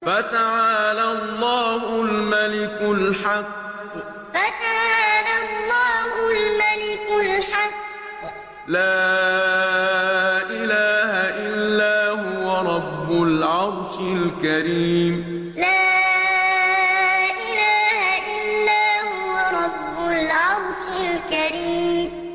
فَتَعَالَى اللَّهُ الْمَلِكُ الْحَقُّ ۖ لَا إِلَٰهَ إِلَّا هُوَ رَبُّ الْعَرْشِ الْكَرِيمِ فَتَعَالَى اللَّهُ الْمَلِكُ الْحَقُّ ۖ لَا إِلَٰهَ إِلَّا هُوَ رَبُّ الْعَرْشِ الْكَرِيمِ